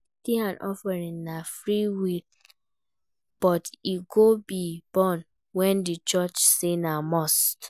Tithes and offering na freewill but e go be burden when di church say na must